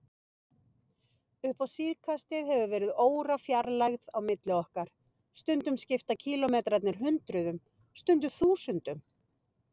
Upp á síðkastið hefur verið órafjarlægð á milli okkar, stundum skipta kílómetrarnir hundruðum, stundum þúsundum.